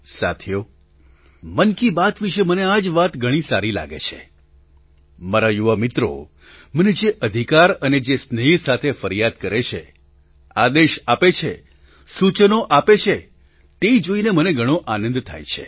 સાથીઓ મન કી બાત વિશે મને આ જ વાત ઘણી સારી લાગે છે મારા યુવા મિત્રો મને જે અધિકાર અને જે સ્નેહ સાથે ફરિયાદ કરે છે આદેશ આપે છે સૂચનો આપે છે તે જોઈને મને ઘણો આનંદ થાય છે